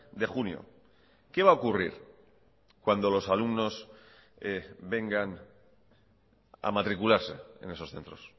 de junio qué va a ocurrir cuando los alumnos vengan a matricularse en esos centros